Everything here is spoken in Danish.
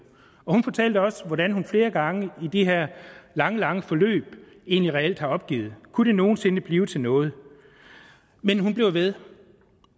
hun fortalte også hvordan hun flere gange i det her lange lange forløb egentlig reelt havde opgivet kunne det nogen sinde blive til noget men hun blev ved